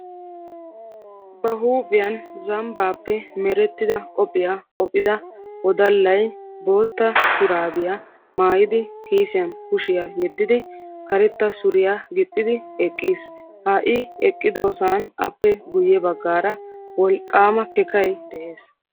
Ba huuphiyan zambbaappe meretidda qophiya qophida woddallay bootta shuraabiya maayidi kiissiyan kushiya yeddidi karetta suriya gixidi eqiis. Ha I eqqidosan appe guye baggaara wolqqaama kakkay de'ees.